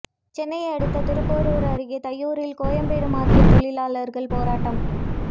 சென்னை அடுத்த திருப்போரூர் அருகே தையூரில் கோயம்பேடு மார்க்கெட் தொழிலாளர்கள் போராட்டம்